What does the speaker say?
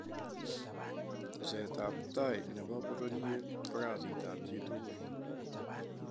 teset ab tai ne bo pororiet ko kasit ab chi tugul.